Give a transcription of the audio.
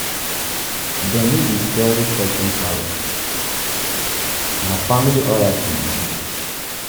them no dey sell taking parrot - na family oracle e be.